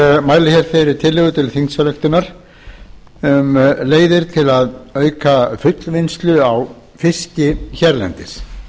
mæli hér fyrir tillögu til þingsályktunar um leiðir til að auka fullvinnslu á fiski hérlendis